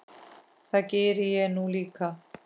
Það geri ég nú líka.